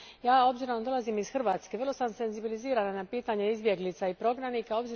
S obzirom da dolazim iz Hrvatske, vrlo sam senzibilizirana na pitanje izbjeglica i prognanika.